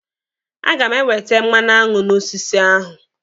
A ga m ewete mmanụaṅụ n'osisi ahụ.